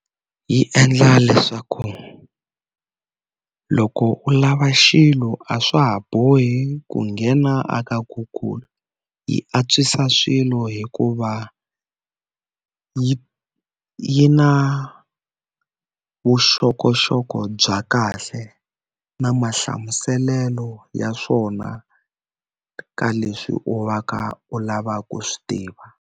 Yi endla leswaku loko u lava xilo a swa ha bohi ku nghena a ka Google yi antswisa swilo hikuva yi yi na vuxokoxoko bya kahle na mahlamuselelo ya swona ka leswi u va ka u lavaka ku swi tiva.